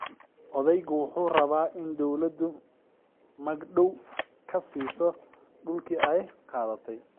Odaygu waxa uu rabaa in dawladu magdhaw ka siiso dhulkii ay qaadatay.